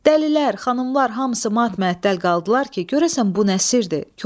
Dəlilər, xanımlar hamısı mat-məəttəl qaldılar ki, görəsən bu nə sirrdir.